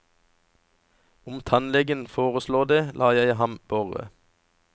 Om tannlegen foreslår det, lar jeg ham borre.